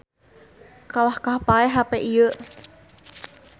Kalahkah paeh hape ieu